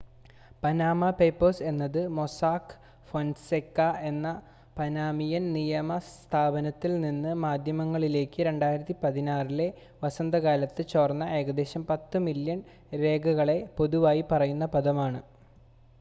"""Panama papers എന്നത് Mossack Fonseca എന്ന Panamanian നിയമ സ്ഥാപനത്തിൽ നിന്ന് മാധ്യമങ്ങളിലേക്ക് 2016-ലെ വസന്തകാലത്ത് ചോർന്ന ഏകദേശം പത്ത് മില്യൺ രേഖകളെ പൊതുവായി പറയുന്ന പദമാണ്.